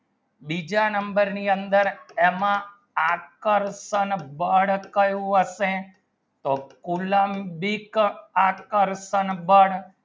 બીજા number ની અંદર એમાં આકર્ષણ બળ કયું હશે તો કુલમ ભી આકર્ષણ બળ